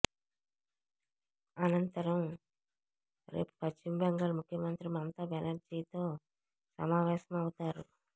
అనంతరం రేపు పశ్చిమబెంగాల్ ముఖ్యమంత్రి మమతా బెనర్జీతో సమావేశం అవుతారు